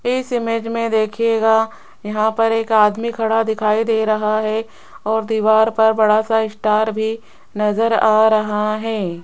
इस इमेज में देखिएगा यहां पर एक आदमी खड़ा दिखाई दे रहा है और दीवार पर बड़ा सा स्टार भी नजर आ रहा है।